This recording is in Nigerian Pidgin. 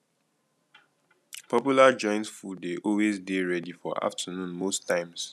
popular joints food de always dey ready for afternoon most times